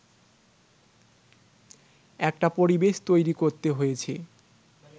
একটা পরিবেশ তৈরি করতে হয়েছে